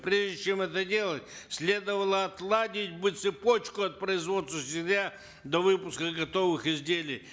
прежде чем это делать следовало отладить бы цепочку от производства сырья до выпуска готовых изделий